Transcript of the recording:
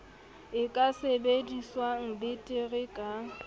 e ka sebediwang betere ka